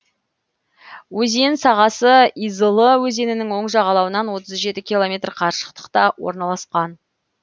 өзен сағасы изылы өзенінің оң жағалауынан отыз жеті километр қашықтықта орналасқан